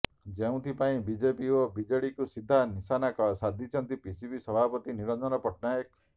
ଯେଉଁଥିପାଇଁ ବିଜେପି ଓ ବିଜେଡିକୁ ସିଧା ନିଶାନା ସାଧିଛନ୍ତି ପିସିସି ସଭାପତି ନିରଞ୍ଜନ ପଟ୍ଟନାୟକ